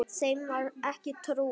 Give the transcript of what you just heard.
Þeim var ekki trúað.